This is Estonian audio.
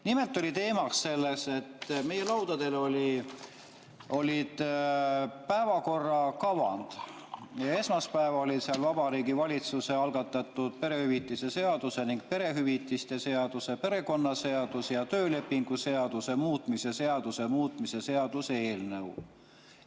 Nimelt oli teemaks see, et meie laudadel olid päevakorrakavad ja esmaspäeva all oli seal Vabariigi Valitsuse algatatud perehüvitiste seaduse ning perehüvitiste seaduse, perekonnaseaduse ja töölepingu seaduse muutmise seaduse muutmise seaduse eelnõu.